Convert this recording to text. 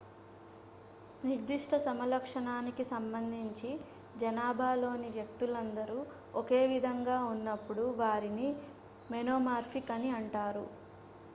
నిర్దిష్ట సమలక్షణానికి సంబంధించి జానాభాలోని వ్యక్తులందరూ ఒకే విధంగా ఉన్నప్పుడు వారిని మొనోమార్ఫిక్ అని అంటారు